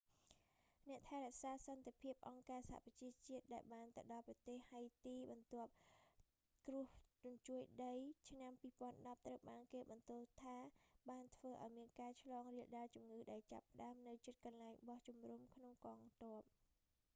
អ្នកថែរក្សាសន្តិភាពអង្គការសហប្រជាជាតិដែលបានទៅដល់ប្រទេសហៃទី បន្ទាប់គ្រោះរញ្ជួយដីឆ្នាំ 2010 ត្រូវបានគេបន្ទោសថាបានធ្វើឱ្យមានការឆ្លងរាលដាលជំងឺ ដែលចាបផ្តើមនៅជិតកន្លែងបោះជំរំរបស់កងទ័ព